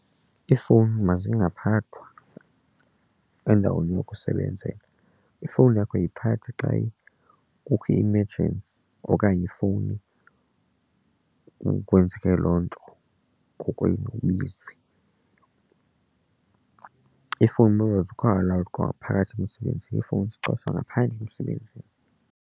Iifowuni mazingaphithwa endaweni yokusebenzela. Ifowuni yakho yiphathe xa kukho i-emergency okanye ifowuni kwenzeke loo nto kokwenu uyive. Iifowuni azikho allowed kwa phakathi umsebenzi zicofwe ngaphandle emsebenzini.